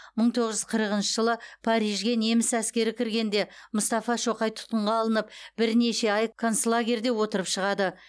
мың тоғыз жүз қырқыншы жылы парижге неміс әскері кіргенде мұстафа шоқай тұтқынға алынып бірнеше ай концлагерьде отырып шығады